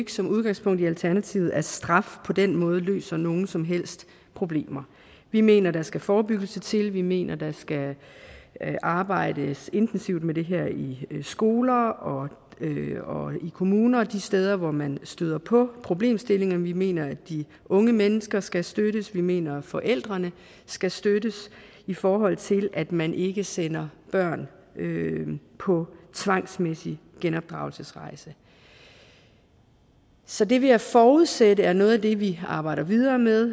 som udgangspunkt i alternativet ikke at straf på den måde løser nogen som helst problemer vi mener der skal forebyggelse til vi mener der skal arbejdes intensivt med det her i skoler og og i kommuner og de steder hvor man støder på problemstillingerne vi mener at de unge mennesker skal støttes og vi mener at forældrene skal støttes i forhold til at man ikke sender børn på tvangsmæssig genopdragelsesrejse så det vil jeg forudsætte er noget af det vi arbejder videre med